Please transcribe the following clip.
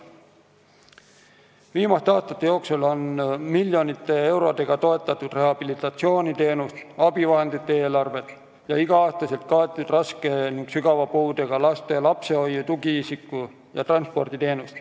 Viimaste aastate jooksul on miljonite eurodega toetatud rehabilitatsiooniteenuste ja abivahendite eelarvet ning igal aastal on kaetud raske ja sügava puudega laste lapsehoiu-, tugiisiku- ja transporditeenus.